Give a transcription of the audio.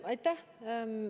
Aitäh!